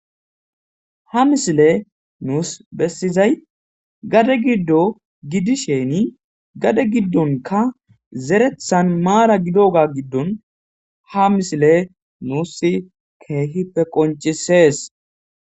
ha misile nuus bessizay gade giddo gidisheni gade giddonka zerethan maara gido ga giddon ha misile nuus keehippe qoncisees